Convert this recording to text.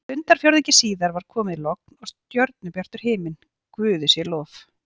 Stundarfjórðungi síðar var komið logn og stjörnubjartur himinn, guði sé lof.